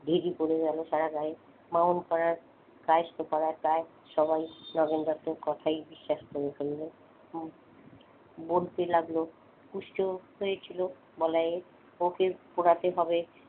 ধী ধী পড়ে গেল সারা গায়ে ব্রাহ্মণপাড়ার কায়েস্নো পাড়ার প্রায় সবাই নগেন দত্তের কথায় বিশ্বাস করে ফেলল হম বলতে লাগল কষ্ট হয়েছিল বলাইয়ের ওকে পোড়াতে হবে।